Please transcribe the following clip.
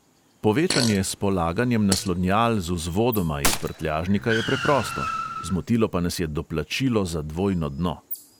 Povečanje s polaganjem naslonjal z vzvodoma iz prtljažnika je preprosto, zmotilo pa nas je doplačilo za dvojno dno.